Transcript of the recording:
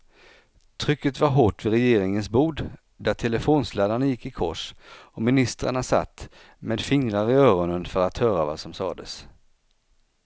Trycket var hårt vid regeringens bord där telefonsladdarna gick i kors och ministrarna satt med fingrar i öronen för att höra vad som sades.